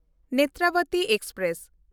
Netravati express